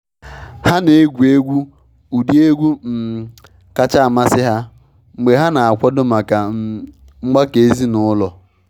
Ha na egwu ụdị egwu um kacha amasị ha mgbe ha na akwado maka um mgbakọ ezinụlọ.